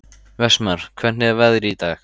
Vestmar, hvernig er veðrið í dag?